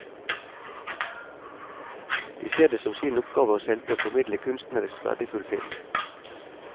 De ser det som sin oppgave å selge og formidle kunstnerisk verdifull film.